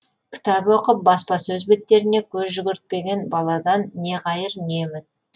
кітап оқып баспасөз беттеріне көз жүгіртпеген баладан не қайыр не үміт